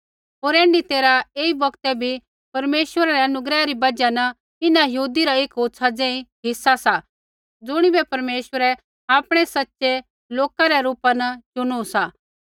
होर ऐण्ढी तैरहै ऐई बौगतै बी परमेश्वरै रै अनुग्रह री बजहा न इन्हां यहूदी रा एक होछ़ा ज़ेही हिस्सा सा ज़ुणिबै परमेश्वरै आपणै सच़ै लोका रै रूपा न चुनु सा